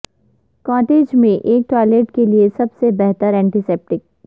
cottage میں ایک toilet کے لئے سب سے بہتر ینٹیسیپٹیک